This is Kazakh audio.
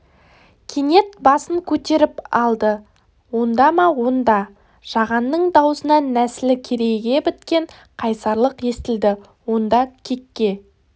кенет басын көтеріп алды онда ма онда жағанның даусынан нәсілі керейге біткен қайсарлық естілді онда кекке